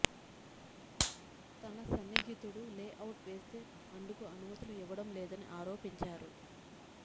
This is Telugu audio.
తన సన్నిహితుడు లే అవుట్ వేస్తే అందుకు అనుమతులు ఇవ్వడం లేదని ఆరోపించారు